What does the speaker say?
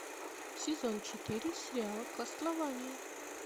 сезон четыре сериал кастлвания